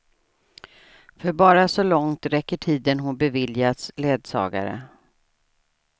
För bara så långt räcker tiden hon beviljats ledsagare.